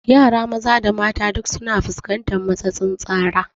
Yara maza da mata duk su na fuskantar matsatsin tsara